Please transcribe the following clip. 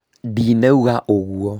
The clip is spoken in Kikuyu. ndinoiga ũguo